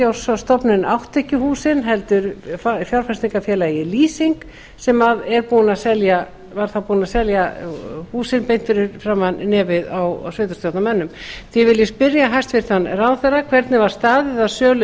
ratsjárstofnun átti ekki húsin heldur fjárfestingarfélagið lýsing sem var þá búið að selja húsin beint fyrir framan nefið á sveitarstjórnarmönnum því vil ég spyrja hæstvirtan ráðherra fyrstu hvernig var staðið að sölu